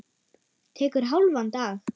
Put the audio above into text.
Tekur hálfan dag.